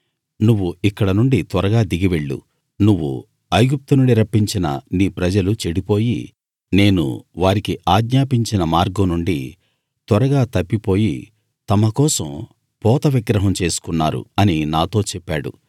నువ్వు ఇక్కడ నుండి త్వరగా దిగి వెళ్ళు నువ్వు ఐగుప్తు నుండి రప్పించిన నీ ప్రజలు చెడిపోయి నేను వారికి ఆజ్ఞాపించిన మార్గం నుండి త్వరగా తప్పిపోయి తమ కోసం పోత విగ్రహం చేసుకున్నారు అని నాతో చెప్పాడు